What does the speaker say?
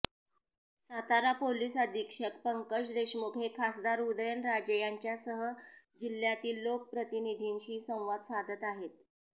Satara police अधीक्षक पंकज देशमुख हे खासदार उदयनराजे यांच्यासह जिल्ह्यातील लोकप्रतिनिधींशी संवाद साधत आहेत